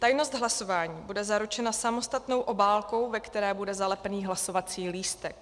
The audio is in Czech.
Tajnost hlasování bude zaručena samostatnou obálkou, ve které bude zalepený hlasovací lístek.